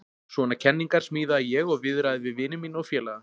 Svona kenningar smíðaði ég og viðraði við vini mína og félaga.